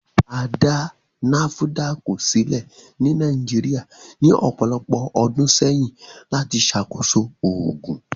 À dá nafudákì sílẹ̀ ní Nàìjíríà ní ọpọ̀lọpọ̀ ọdún sẹyìn lati ṣàkóṣọ̀ oogun